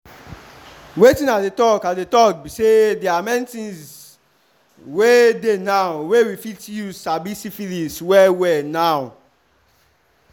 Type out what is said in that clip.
wetin i dey talk i dey talk be say they are many things were dey now were we fit use sabi syphilis well well now